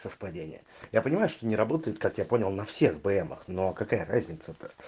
совпадение я понимаю что не работает как я понял на всех бмах но какая разница-то